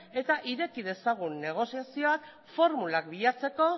eta ireki dezagun negoziazioa formulak bilatzeko